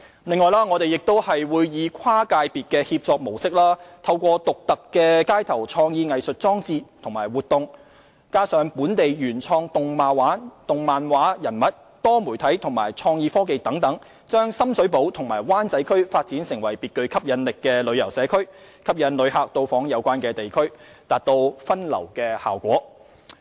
此外，我們會以跨界別協作模式，透過獨特的街頭創意藝術裝置及活動、本地原創動漫畫人物、多媒體和創意科技等，將深水埗和灣仔區發展成別具吸引力的旅遊社區，吸引旅客到訪，達到分流效果。